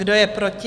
Kdo je proti?